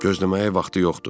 Gözləməyə vaxtı yoxdur.